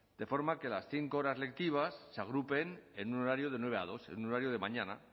de forma que las cinco horas lectivas se agrupen en un horario de nueve a dos en un horario de mañana